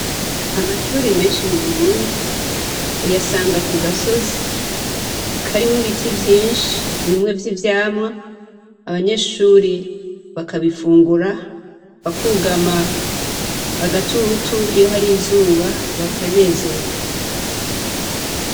Amashure menshi mu Burundi uyasanga kugasozi karimwo ibiti vyinshi bimwe vy'ivyamwa, abanyeshure bakabifungura, bakugama agatutu iyo hari izuba bakanezerwa.